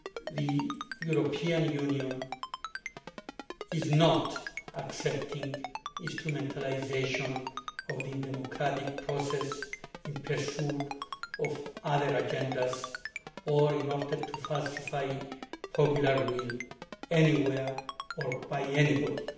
The European Union is not accepting instrumentalisation of the democratic process in pursuit of other agendas or in order to falsify popular will anywhere or by anybody.